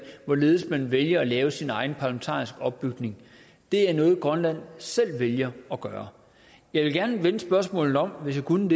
hvorledes man vælger at lave sin egen parlamentariske opbygning det er noget grønland selv vælger at gøre jeg ville gerne vende spørgsmålet om hvis jeg kunne